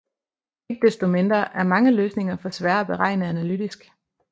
Ikke desto mindre er mange løsninger for svære at beregne analytisk